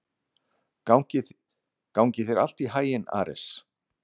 Gangi þér allt í haginn, Ares.